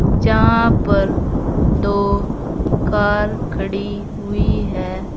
जहां पर दो कार खड़ी हुई है।